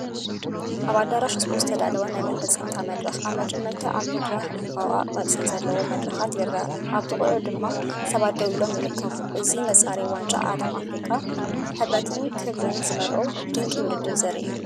ኣብ ኣዳራሽ ስፖርት ዝተዳለወ ናይ ፍጻመ መድረኽ። ኣብ መጀመርታ ኣብ መድረኽ ዕምባባ ቅርጺ ዘለዎ መደረካት ይርአ፣ ኣብ ጥቓኡ ድማ ሰባት ደው ኢሎም ይርከቡ። እዚ መጻረዪ ዋንጫ ዓለም ኣፍሪቃ፡ ሕብርን ክብርን ዝመልኦ ድንቂ ውድድር ዘርኢ አዩ።